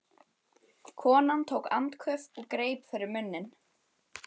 Konan tók andköf og greip fyrir munninn.